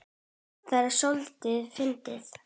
Það er soldið fyndið.